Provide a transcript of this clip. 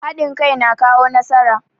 Hadin kai na kawo nasara.